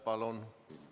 Palun!